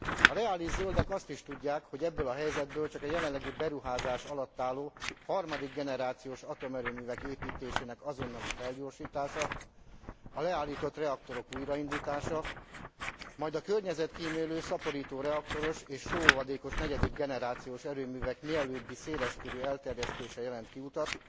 A reális zöldek azt is tudják, hogy ebből a helyzetből csak a jelenleg beruházás alatt álló harmadik generációs atomerőművek építésének azonnali felgyorsítása, a leállított reaktorok újraindítása, majd a környezetkímélő szaporítóreaktoros és sóolvadékos negyedik generációs erőművek mielőbbi széleskörű elterjesztése jelent kiutat,